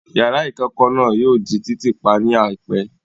Yàrá ìkẹ́kọ̀ náà yóò di títì pa ní àìpẹ́